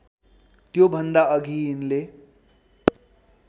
त्योभन्दा अघि यिनले